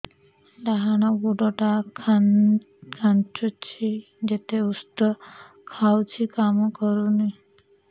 ଡାହାଣ ଗୁଡ଼ ଟା ଖାନ୍ଚୁଚି ଯେତେ ଉଷ୍ଧ ଖାଉଛି କାମ କରୁନି